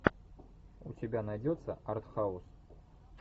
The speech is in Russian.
у тебя найдется артхаус